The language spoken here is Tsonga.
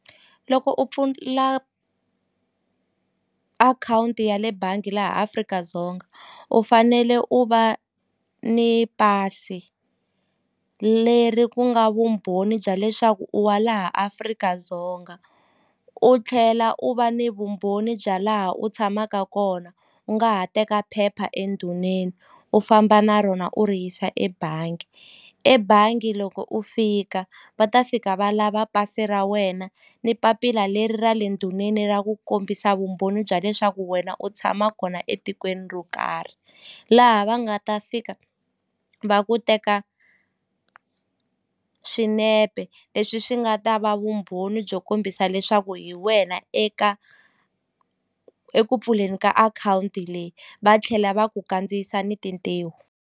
Loko u pfula akhawunti ya le bangi laha Afrika-Dzonga u fanele u va ni pasi leri ku nga vumbhoni bya leswaku u wa laha Afrika-Dzonga u tlhela u va ni vumbhoni bya laha u tshamaka kona u nga ha teka phepha endhuneni u famba na rona u ri yisa ebangi ebangi loko u fika va ta fika va lava pasi ra wena ni papila leri ra le endhuneni ra ku kombisa vumbhoni bya leswaku wena u tshama kona etikweni ro karhi laha va nga ta fika va ku teka swinepe leswi swi nga ta va vumbhoni byo kombisa leswaku hi wena eka eku pfuleni ka akhawunti leyi va tlhela va ku kandziyisa ni tintiho.